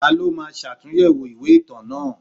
Ta ló máa ṣàtúnyẹ̀wò ìwé ìtàn náà?